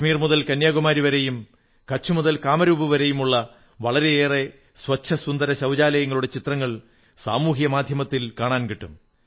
കാഷ്മീർ മുതൽ കന്യാകുമാരി വരെയും കച്ഛ് മുതൽ കാമരൂപ് വരെയുമുള്ള വളരെയേറെ സ്വച്ഛസുന്ദരശൌചാലയങ്ങളുടെ ചിത്രങ്ങൾ സാമൂഹിക മാധ്യമത്തിൽ കാണാൻകിട്ടും